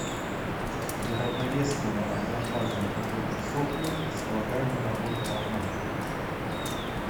для равновесного адиабатного потока в сопле располагаемая работа равна